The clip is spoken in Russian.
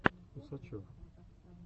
усачев